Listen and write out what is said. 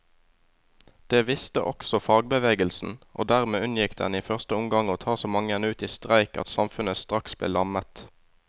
Det visste også fagbevegelsen, og dermed unngikk den i første omgang å ta så mange ut i streik at samfunnet straks ble lammet.